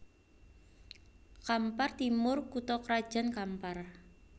Kampar Timur kutha krajan Kampar